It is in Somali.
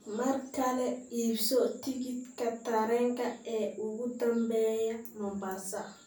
mar kale iibso tikidhka tareenka ee ugu dambeeya Mombasa